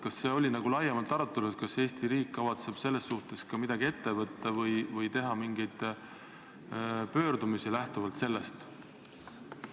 Kas see oli laiemalt arutelul, kas Eesti riik kavatseb selles suhtes ka midagi ette võtta või teha mingeid pöördumisi lähtuvalt sellest?